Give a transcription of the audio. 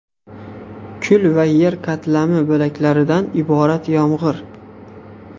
Kul va yer qatlami bo‘laklaridan iborat yomg‘ir.